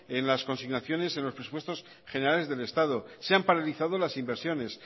en las consignaciones en los presupuestos generales del estado se han paralizado las inversiones